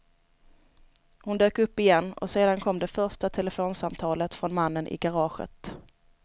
Hon dök upp igen och sedan kom det första telefonsamtalet från mannen i garaget.